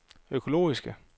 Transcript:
økologiske